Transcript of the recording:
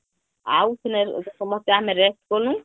ଆଉ ସେ ସମସ୍ତେ ଆମେ rest କନୁ